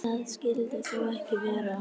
Það skyldi þó ekki vera.